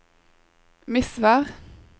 Misvær